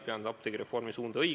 Pean apteegireformi suunda õigeks.